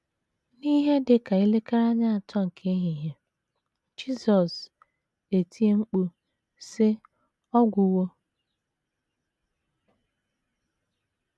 N’ihe dị ka elekere anya atọ nke ehihie, Jisọs etie mkpu, sị: “ Ọ gwụwo. ”